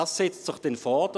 Dies setzt sich dann fort.